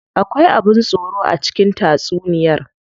Akwai abin tsoro a cikin tatsuniyar?